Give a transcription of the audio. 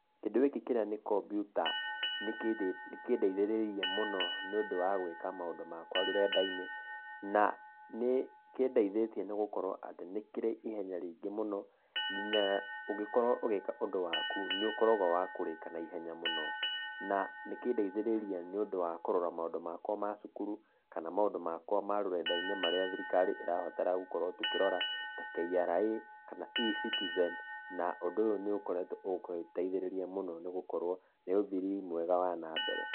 Kĩndũ gĩkĩ kĩrĩa nĩ kampiuta nĩ kũndeithĩrĩirie mũno nĩ ũndũ wa gũika maũndũ makwa rũrenda-inĩ, na nĩ kĩndeithĩtie nĩ gũkorwo nĩ kĩrĩ ihenya rĩingĩ mũno, na ũngĩkorwo ũgĩka ũndũ waku, nĩ ũkoragwo wa kũwĩka naihenya mũno na nĩ kũndeithĩrĩirie kũrora maũndũ makwa ma cukuru kana maũndũ makwa ma rũrenda-inĩ marĩa thirikari ĩraabatara gũkorwo tũkĩrora ta KRA, kana eCitize, na ũndũ ũyũ nĩ ũkoretwo ĩteithĩrĩirie nĩ gũkorwo, nĩ ũthii mwega wa nambere.